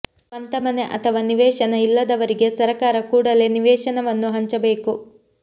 ಸ್ವಂತ ಮನೆ ಅಥವಾ ನಿವೇಶನ ಇಲ್ಲದವರಿಗೆ ಸರಕಾರ ಕೂಡಲೇ ನಿವೇಶನವನ್ನು ಹಂಚಬೇಕು